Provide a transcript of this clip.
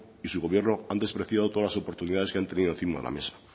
y su gobierno han despreciado todas las oportunidades que han tenido encima de la mesa